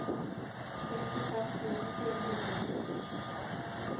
sekstifem tusen fire hundre og nitti